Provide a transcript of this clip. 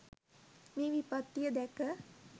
මේ විපත්තිය දැක